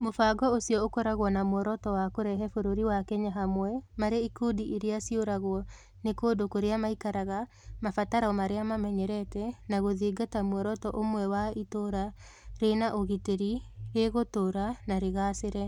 Mũbango ũcio ũkoragwo na muoroto wa kũrehe bũrũri wa Kenya hamwe marĩ ikundi iria ciũragwo nĩ kũndũ kũrĩa maikaraga, mabataro marĩa mamenyerete na gũthingata muoroto ũmwe wa itũũra rĩ na ũgitĩri, rĩgũtũũra na rĩgaacĩre.